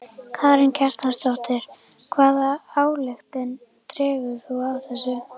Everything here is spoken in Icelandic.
Karen Kjartansdóttir: Hvaða ályktun dregur þú af þessu?